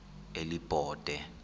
elibode